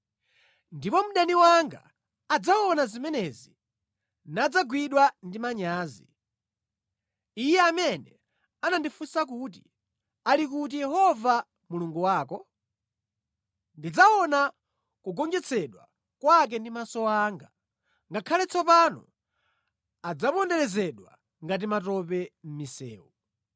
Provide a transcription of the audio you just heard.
Ndipo mdani wanga adzaona zimenezi nadzagwidwa ndi manyazi, iye amene anandifunsa kuti, “Ali kuti Yehova Mulungu wako?” Ndidzaona kugonjetsedwa kwake ndi maso anga; ngakhale tsopano adzaponderezedwa ngati matope mʼmisewu.